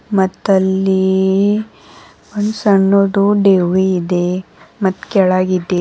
ಮತ್ತಲ್ಲಿ ಒಂದ್ ಸಣ್ಣದ್ದು ದೆವ್ವಿ ಇದೆ ಮತ್ ಕೆಳಗಿದೆ.